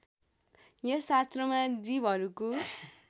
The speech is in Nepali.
यस शास्त्रमा जीवहरूको